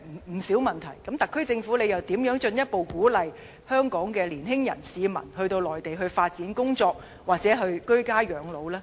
在這樣的情況下，特區政府又如何能進一步鼓勵香港年輕人或市民到內地發展工作，或居家養老？